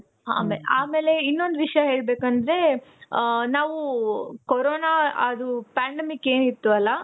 ಆಮೇಲೆ ಇನ್ನೊಂದು ವಿಷಯ ಹೇಳ್ಬೇಕಂದ್ರೆ, ನಾವು ಕೋರೋನ ಅದು pandemic ಏನ್ ಇತ್ತು ಅಲ